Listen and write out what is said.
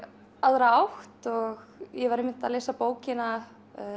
aðra átt og ég var að lesa bókina